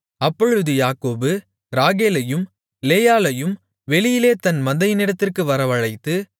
அப்பொழுது யாக்கோபு ராகேலையும் லேயாளையும் வெளியிலே தன் மந்தையினிடத்திற்கு வரவழைத்து